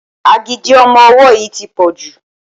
Agídí ọmọ ọwọ́ yìí tí pọ̀ jù.